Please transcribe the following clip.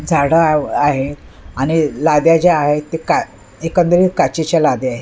झाडं आ आहे आणि लाद्या ज्या आहेत ते का एकंदरीत काचेच्या लाद्या आहेत.